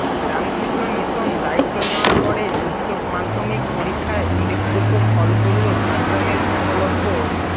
Ramakrishna Mission দায়িত্ব নেওয়ার পরে উচ্চ মাধ্যমিক পরীক্ষায় উল্লেখযোগ্য ফল করল ঝাড়গ্রামের একলব্য